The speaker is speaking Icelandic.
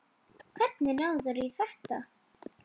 Hvernig náðirðu í þetta?